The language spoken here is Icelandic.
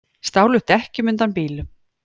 Stálu dekkjum undan bílum